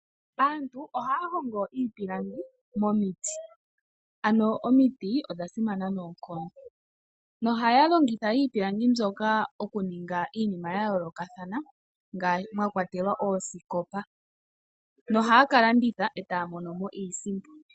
Aantu ohaya hongo iipilangi momiti ano omiti odhasimana noonkondo, na ohaya longitha iipilangi mbyoka okuninga iinima yayoolokathana mwakwatelwa oosikopa na ohaya kalonditha etaya mono mo iisimpo.